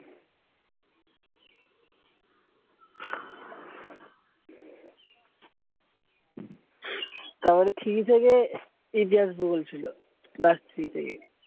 তারপরে three থেকে ইতিহাস ভূগোল ছিল। class three থেকে।